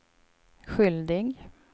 skyldig